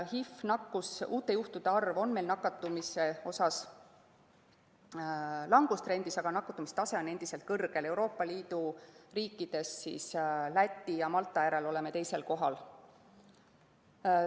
HIV‑nakkuse uute juhtude arv on meil nakatumise mõttes langustrendis, aga nakatumise tase on endiselt kõrge, Euroopa Liidu riikidest oleme Läti ja Malta järel kolmandal kohal.